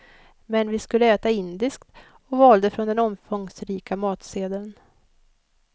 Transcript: Men vi skulle äta indiskt och valde från den omfångsrika matsedeln.